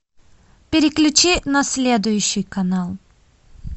переключи на следующий канал